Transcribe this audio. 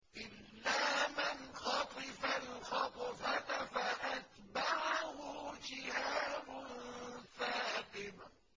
إِلَّا مَنْ خَطِفَ الْخَطْفَةَ فَأَتْبَعَهُ شِهَابٌ ثَاقِبٌ